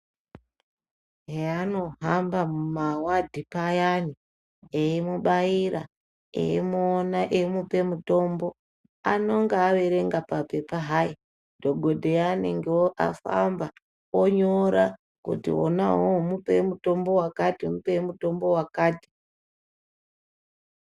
Heanohamba mumawadhi payani, eimubaira, eimuona eimupe mutombo, anonga averenga papepa hai. Dhogodheya anonga afamba onyora kuti wona uwowo mupei mutombo wakati, mupei mutombo wakati.